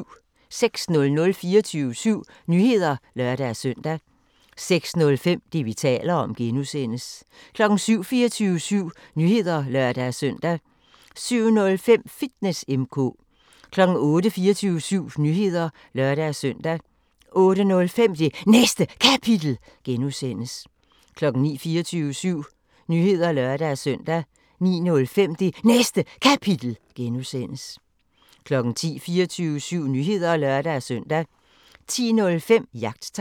06:00: 24syv Nyheder (lør-søn) 06:05: Det, vi taler om (G) 07:00: 24syv Nyheder (lør-søn) 07:05: Fitness M/K 08:00: 24syv Nyheder (lør-søn) 08:05: Det Næste Kapitel (G) 09:00: 24syv Nyheder (lør-søn) 09:05: Det Næste Kapitel (G) 10:00: 24syv Nyheder (lør-søn) 10:05: Jagttegn